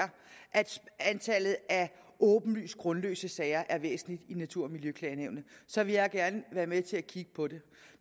antallet af åbenlyst grundløse sager er væsentligt i natur og miljøklagenævnet så vil jeg gerne være med til at kigge på det